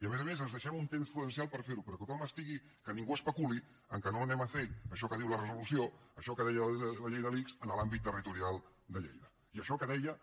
i a més a més ens deixem un temps prudencial per fer ho però que ningú especuli que no farem això que diu la resolució això que deia la llei de l’ics en l’àmbit territorial de lleida i això que deia